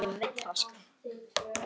Nefna má